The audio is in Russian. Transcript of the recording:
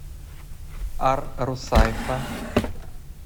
ар русайфа